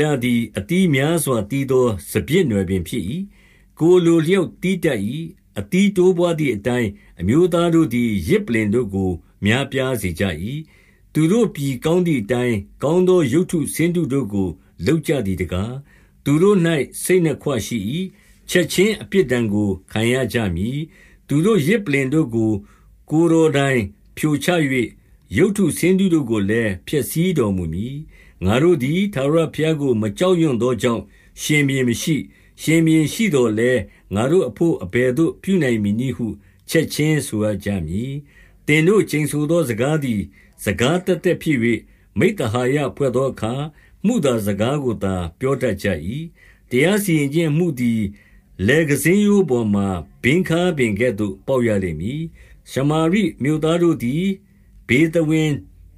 လသည် အသီးများစွာ သီးသော စပျစ် နွယ်ပင်ဖြစ်၏။ ကိုယ်အလိုအလျောက် သီးတတ်၏။ အသီးတိုးပွားသည်အတိုင်း အမျိုးသားတို့သည် ယဇ်ပလ္လင် တို့ကို များပြားစေကြ၏။ သူတို့ပြည်ကောင်းသည်အတိုင်း ကောင်းသော ရုပ်တုဆင်းတုတို့ကို လုပ်ကြသည်တကား။ 2 သူတို့၌ စိတ်နှစ်ခွရှိ၏။ ချက်ခြင်းအပြစ်ဒဏ်ကို ခံရကြမည်။ သူတို့ ယဇ်ပလ္လင်တို့ကို ကိုယ်တော်တိုင် ဖြိုချ ၍၊ ရုပ်တုဆင်းတုတို့ကိုလည်း ဖျက်ဆီးတော်မူမည်။ 3 ငါတို့သည် ထာဝရဘုရားကို မကြောက်ရွံ့သော ကြောင့် ရှင်ဘုရင်မရှိ။ ရှင်ဘုရင်ရှိသော်လည်း၊ ငါတို့အဘို့ အဘယ်သို့ ပြုနိုင်မည်နည်းဟု ချက်ခြင်း ဆိုရကြမည်။ 4 သူတို့ ကျိန်ဆိုသော စကားသည် စကားသက် သက်ဖြစ်၍၊ မိဿဟာယဖွဲ့သောအခါ မုသာစကားကို သာ ပြောတတ်ကြ၏။ တရားစီရင်ခြင်းအမှုသည် လယ်ကန်ဆည်ရိုးပေါ်မှာ ဘင်းခါးပင်ကဲ့သို့ ပေါက်ရလိမ့် မည်။ 5 ရှမာရိမြို့သားတို့သည် ဗေသဝင်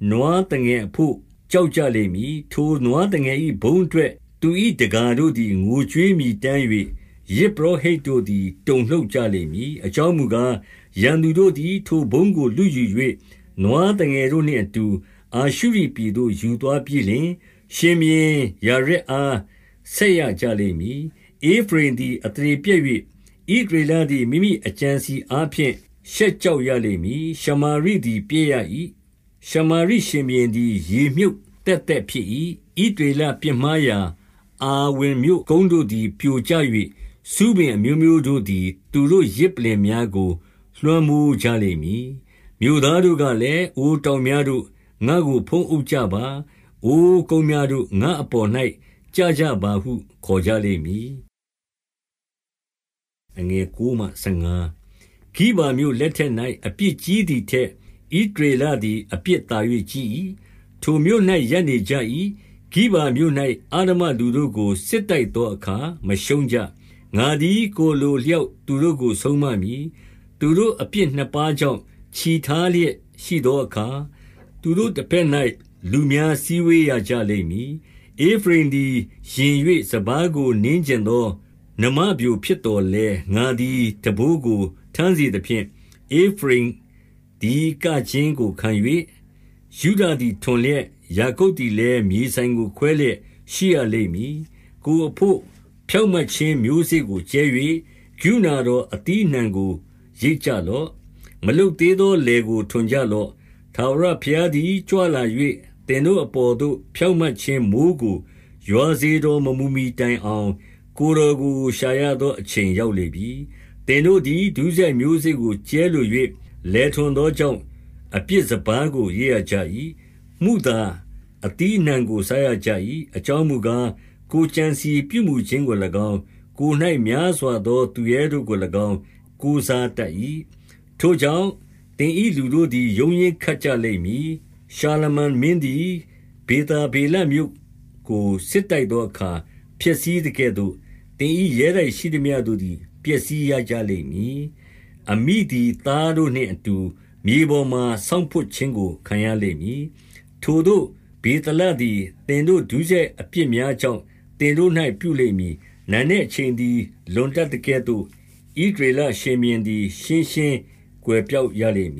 နွားသငယ် အဘို့ ကြောက်ကြလိမ့်မည်။ ထိုနွားသငယ်၏ ဘုန်းအ တွက် သူ၏တကာတို့သည် ငိုကြွေးမြည်တမ်း၍၊ ယဇ် ပုရောဟိတ်တို့သည် တုန်လှုပ်ကြလိမ့်မည်။ အကြောင်းမူ ကား၊ ရန်သူတို့သည် ထိုဘုန်းကို လုယူ၍၊ 6 နွားသငယ်နှင့်အတူ အာရှုရိပြည်သို့ ယူသွားပြီး လျှင်၊ ရှင်ဘုရင်ယာရက်အား ဆက်ရကြလိမ့်မည်။ ဧဖရိမ်သည် အသရေပျက်၍ ဣသရေလသည် မိမိအကြံ အစည်အားဖြင့် ရှက်ကြောက်ရလိမ့်မည်။ 7 ရှမာရိသည် ပျက်ရ၏။ ရှမာရိရှင်ဘုရင်သည် ရေမြှုပ်သက်သက်ဖြစ်၏။ 8 ဣသရေလပြစ်မှားရာ အာဝင်မြို့ကုန်းတို့သည် ပြိုကျ၍၊ ဆူးပင်အမျိုးမျိုးတို့သည် သူတို့ ယဇ်ပလ္လင်များကို လွှမ်းမိုးကြလိမ့်မည်။ မြို့သားတို့ကလည်း၊ အိုတောင်များ တို့၊ ငါတို့ကို ဖုံးအုပ်ကြပါ။ အိုကုန်းများတို့၊ ငါတို့အပေါ်၌ ကျကြပါဟု ခေါ်ကြလိမ့်မည်။ 9 ဂိဗာမြို့လက်ထက်၌ အပြစ်ကြီးသည်ထက် ဣသရေလသည် အပြစ်သာ၍ ကြီး၏။ ထိုမြို့၌ ရပ်နေ ကြ၏။ ဂိဗာမြို့၌ အဓမ္မလူတို့ကို စစ်တိုက်သောအခါ မရှုံးကြ။ 10 ငါသည် ကိုယ်အလိုအလျောက် သူတို့ကို ဆုံးမ မည်။ သူတို့ အပြစ်နှစ်ပါးကြောင့် ချည်ထားလျက်ရှိသော အခါ၊ သူတို့တဘက်၌ လူများစည်းဝေးရကြလိမ့်မည်။ 11 ဧဖရိမ်သည် ယဉ်၍ စပါးကို နင်းချင်သော နွားမပျိုဖြစ်သော်လည်း၊ ငါသည် ထမ်းဘိုးကို ထမ်းစေ သဖြင့်၊ ဧဖရိမ်သည် ကခြင်းကို ခံ၍၊ ယုဒသည် ထွန်လျက်၊ ယာကုပ်သည်လည်း မြေစိုင်ကို ခွဲလျက်ရှိရလိမ့်မည်။ 12 ကိုယ်အဘို့ ဖြောင့်မတ်ခြင်းမျိုးစေ့ကို ကြဲ၍၊ ကရုဏာတော် အသီးအနှံကို ရိတ်ကြလော့။ မလုပ်သေး သော လယ်ကို ထွန်ကြလော့။ ထာဝရဘုရားသည် ကြွလာ ၍၊ သင်တို့အပေါ်သို့ ဖြောင့်မတ်ခြင်း မိုဃ်းကို ရွာစေ တော်မမူမှီတိုင်အောင်၊ ကိုယ်တော်ကို ရှာရသောအချိန် ရောက်လေပြီ။ 13 သင်တို့သည် ဒုစရိုက်မျိုးစေ့ကို ကြဲလို၍ လယ် ထွန်သောကြောင့်၊ အပြစ်စပါးကို ရိတ်ရကြ၏။ မုသာ အသီးအနှံကို စားရကြ၏။ အကြောင်းမူကား၊ ကိုယ်ကြံ စည်ပြုမူခြင်းကို၎င်း၊ ကိုယ်၌ များစွာသော သူရဲတို့ကို၎င်း ကိုးစားတတ်၏။ 14 ထိုကြောင့်၊ သင်၏လူတို့သည် ရုန်းရင်းခတ်ကြ လိမ့်မည်။ ရှာလမန်မင်းသည် ဗေသာဗေလမြို့ကို စစ် တိုက်သောအခါ ဖျက်ဆီးသကဲ့သို့၊ သင်၏ရဲတိုက်ရှိသမျှ တို့သည် ပျက်စီးရကြလိမ့်မည်။ အမိသည် သားတို့နှင့် အတူ မြေပေါ်မှာ ဆောင့်ဖွပ်ခြင်းကို ခံရလိမ့်မည်။ 15 ထိုသို့ ဗေသလသည် သင်တို့ ဒုစရိုက်အပြစ်များ ကြောင့် သင်တို့၌ ပြုလိမ့်မည်။ နံနက်အချိန်သည် လွန်တတ်သကဲ့သို့၊ ဣသရေလရှင်ဘုရင်သည် ရှင်းရှင်း ကွယ်ပျောက်ရလိမ့်မ